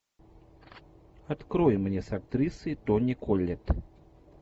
открой мне с актрисой тони коллетт